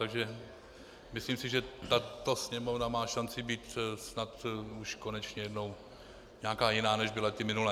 Takže myslím si, že tato Sněmovna má šanci být snad už konečně jednou nějaká jiná, než byly ty minulé.